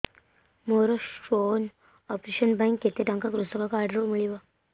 ମୋର stone operation ପାଇଁ କେତେ ଟଙ୍କା କୃଷକ କାର୍ଡ ରୁ ମିଳିବ